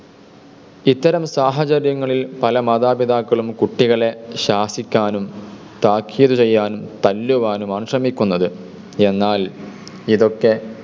ഇത്തരം സാഹചര്യങ്ങളിൽ പല മാതാപിതാക്കന്മാരും കുട്ടികളെ ശാസിക്കാനും, താക്കിതു ചെയ്യുവാനും, തല്ലുവാനുമാണ് ശ്രമിക്കുന്നത്. എന്നാൽ, ഇതൊക്കെ